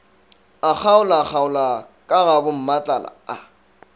a kgaolakgaola ka gabommatlala a